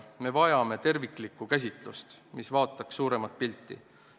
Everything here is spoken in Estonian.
Me vajame terviklikku käsitlust, mis vaataks suuremat pilti.